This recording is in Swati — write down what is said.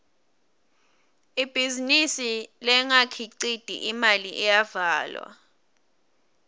ibhizinisi lengakhiciti imali iyavalwa